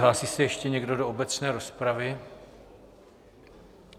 Hlásí se ještě někdo do obecné rozpravy?